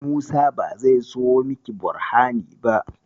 Musa ba zai siyo miki Borhani ba.